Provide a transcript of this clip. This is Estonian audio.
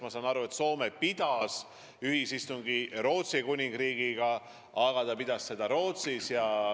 Ma saan aru, et Soome on pidanud ühisistungi ka Rootsi Kuningriigiga, aga ta tegi seda Soomes.